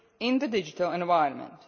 values in the digital environment.